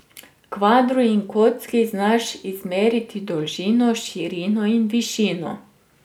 Kvadru in kocki znaš izmeriti dolžino, širino in višino.